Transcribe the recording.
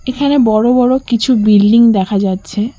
এখানে বড়ো বড়ো কিছু বিল্ডিং দেখা যাচ্ছে।